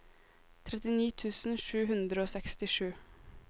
trettini tusen sju hundre og sekstisju